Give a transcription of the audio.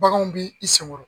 Baganw b'i i senkɔɔrɔ